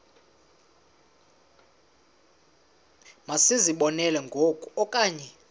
masizibonelele ngoku okanye